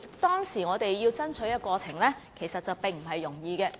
當時，我們的爭取過程其實並不容易。